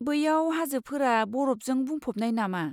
बैयाव हाजोफोरा बरफजों बुंफबनाय नामा?